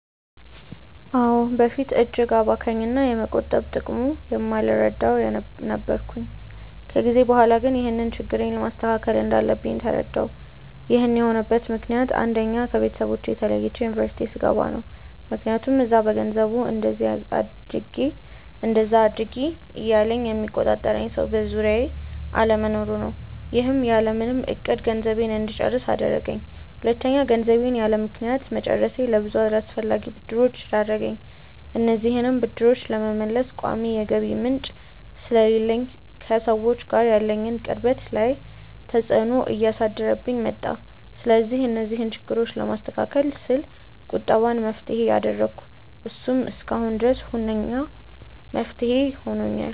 አዎ። በፊት እጅግ አባካኝ እና የመቆጠብ ጥቅሙን የማልረዳ ነበርኩ። ከጊዜ በኋላ ግን ይህንን ችግሬን ማስተካከል እንዳለብኝ ተረዳሁ። ይህን የሆነበት ምክንያት አንደኛ: ከቤተሰቦቼ ተለይቼ ዩኒቨርስቲ ስገባ ነው። ምክያቱም እዛ በገንዘቡ እንደዚ አድርጊ እንደዛ አድርጊ እያለ የሚቆጣጠረኝ ሰው በዙሪያዬ አለመኖሩ ነው። ይህም ያለምንም እቅድ ገንዘቤን እንድጨርስ አደረገኝ። ሁለተኛ: ገንዘቤን ያለምክንያት መጨረሴ ለብዙ አላስፈላጊ ብድሮች ዳረገኝ። እነዚህንም ብድሮች ለመመለስ ቋሚ የገቢ ምንጭ ስለሌለኝ ከሰዎች ጋር ያለኝን ቅርበት ላይ ተፅዕኖ እያሳደረብኝ መጣ። ስለዚህ እነዚህን ችግሮች ለማስተካከል ስል ቁጠባን መፍትሄ አደረኩ። እሱም እስካሁን ድረስ ሁነኛ መፍትሄ ሆኖኛል።